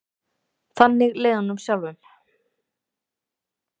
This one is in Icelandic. Þannig leið honum sjálfum.